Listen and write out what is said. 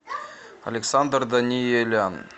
александр даниелян